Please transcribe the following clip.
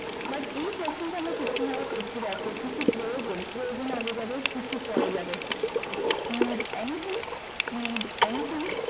but এই question টা আমরা কি রকম ভাবে করছি দেখো কিছু প্রয়োজন প্রয়োজন আগে যাবে need anything need anything